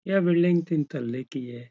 यह बिल्डिंग तीन तल्ले की है।